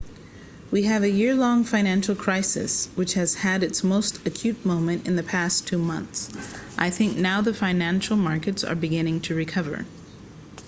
we have a year-long financial crisis which has had its most acute moment in the past two months and i think now the financial markets are beginning to recover